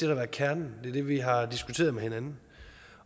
har været kernen det er det vi har diskuteret med hinanden